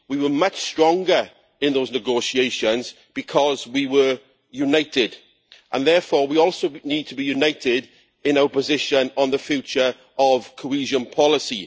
We were much stronger in those negotiations because we were united and therefore we also need to be united in our position on the future of cohesion policy.